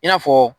I n'a fɔ